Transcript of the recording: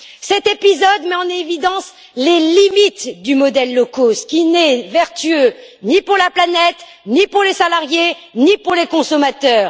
Cet épisode met en évidence les limites du modèle low cost qui n'est vertueux ni pour la planète, ni pour les salariés, ni pour les consommateurs.